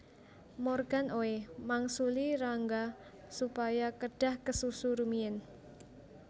Morgan Oey mangsuli Rangga supaya kedhah kesusu rumiyin